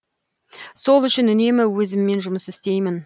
сол үшін үнемі өзіммен жұмыс істеймін